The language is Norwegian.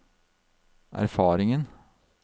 erfaringen